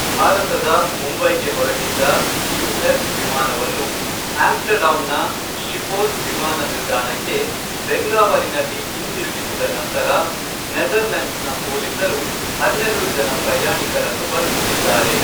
ಭಾರತದ ಮುಂಬೈಗೆ ಹೊರಟಿದ್ದ ಯು.ಎಸ್ ವಿಮಾನವನ್ನು ಆಮ್ಸ್ಟರ್ಡ್ಯಾಮ್ನ ಶಿಪೋಲ್ ವಿಮಾನ ನಿಲ್ದಾಣಕ್ಕೆ ಬೆಂಗಾವಲಿನಲ್ಲಿ ಹಿಂತಿರುಗಿಸಿದ ನಂತರ ನೆದರ್ಲೆಂಡ್ಸ್ನ ಪೊಲೀಸರು ಹನ್ನೆರಡು ಜನ ಪ್ರಯಾಣಿಕರನ್ನು ಬಂಧಿಸಿದ್ದಾರೆ.